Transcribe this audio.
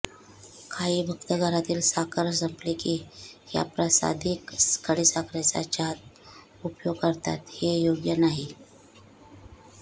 काही भक्त घरातील साखर संपली की ह्या प्रासादिक खडीसाखरेचा चहात उपयोग करतात हे योग्य नाही